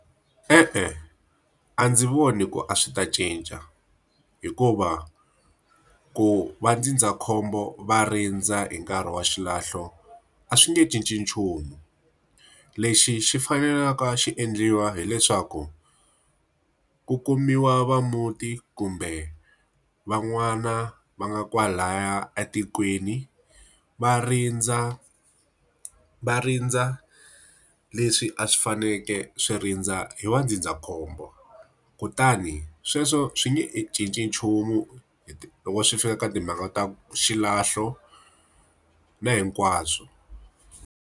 E-e a ndzi voni ku a swi ta cinca. Hikuva ku vandzindzakhombo va rindza hi nkarhi wa xilahlo, a swi nge cinci nchumu. Lexi xi faneleke a xi endliwa hileswaku ku kumiwa va muti kumbe van'wana va nga kwalaya etikweni, va rindza va rindza leswi a swi fanekele swi rindza hi vandzindzakhombo. Kutani sweswo swi nge cinci nchumu loko swi fika ka timhaka ta xilahlo na hinkwaswo.